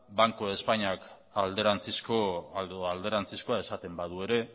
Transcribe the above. banco de espainiak alderantzizko edo alderantzizkoa esaten badu ere